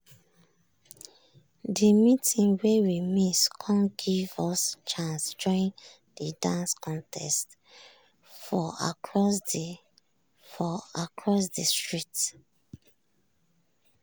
de meeting wey we miss come give us chance join de dance contest for across de for across de street.